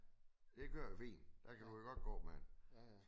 Det kører fint der kan du godt gå med den